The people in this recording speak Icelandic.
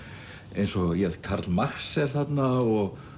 eins og Karl Marx er þarna og